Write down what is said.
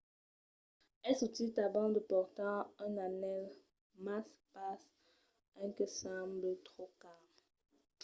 es util tanben de portar un anèl mas pas un que semble tròp car